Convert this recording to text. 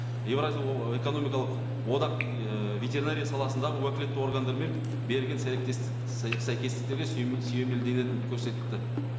еуразия экономикалық одақ ыыы ветеринария саласындағы уәкілетті органдармен берілген сәйкестіктерге сүйемелденетінің көрсетті